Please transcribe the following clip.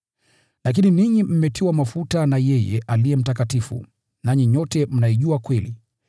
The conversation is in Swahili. Lakini ninyi mmetiwa mafuta na yeye Aliye Mtakatifu, nanyi nyote mnaijua kweli.